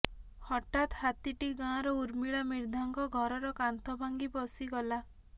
ହଠାତ୍ ହାତୀଟି ଗାଁର ଉର୍ମିଳା ମିର୍ଦ୍ଧାଙ୍କ ଘରର କାନ୍ଥ ଭାଙ୍ଗି ପଶିଗଲା